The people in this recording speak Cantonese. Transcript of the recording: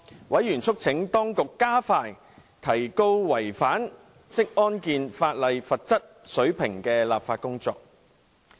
委員促請當局加快提高違反職業安全和健康法例的罰則水平的立法工作。